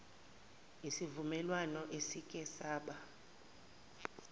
isivumelwano esike saba